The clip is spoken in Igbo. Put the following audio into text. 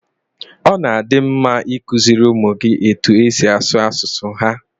Ọ na-adi mma i kuziri ụmụ gị etu e si asụ asụsụ ha